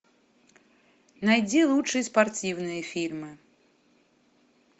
найди лучшие спортивные фильмы